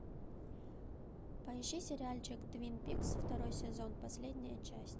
поищи сериальчик твин пикс второй сезон последняя часть